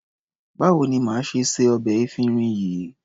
Báwo ni màá ṣe se ọbẹ̀ efinrin yìí?